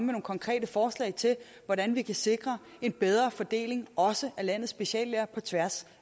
nogle konkrete forslag til hvordan vi kan sikre en bedre fordeling også af landets speciallæger på tværs